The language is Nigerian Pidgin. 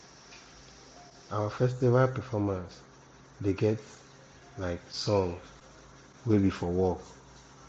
our festival performance dey get um songs wey be for work